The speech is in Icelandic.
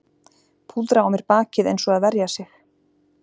Púðra á mér bakið eins og að verja sig